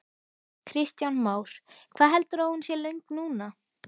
Kristján Már: Hvað heldurðu að hún sé löng núna?